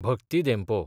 Bhakti Dempo